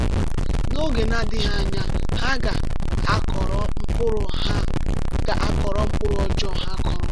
N’oge na-adịghị anya, ha ga-akọrọ mkpụrụ ha ga-akọrọ mkpụrụ ọjọọ ha kụrụ.